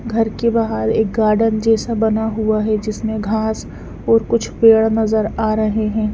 घर के बाहर एक गार्डन जैसा बना हुआ है जिसमें घास और कुछ पेड़ नजर आ रहे हैं।